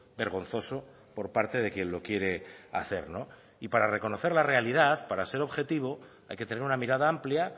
vergonzoso por parte de quien lo quiere hacer no y para reconocer la realidad para ser objetivo hay que tener una mirada amplia